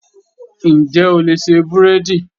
Ǹjẹ́ o lè ṣe búrẹ́dì?.